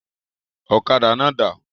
Ọ̀kadà náà dà?